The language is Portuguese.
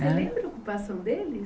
Hã Você lembra a ocupação deles?